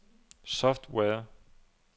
software